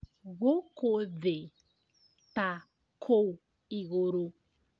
Gũkũ thĩ ta kũu igũrũ